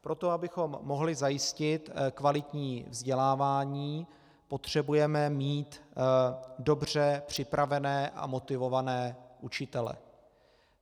Pro to, abychom mohli zajistit kvalitní vzdělávání, potřebujeme mít dobře připravené a motivované učitele.